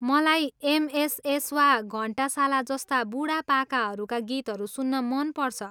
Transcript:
मलाई एमएसएस वा घन्टाशाला जस्ता बुढापाकाहरूका गीतहरू सुन्न मन पर्छ।